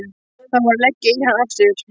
Þá var að leggja í hann aftur.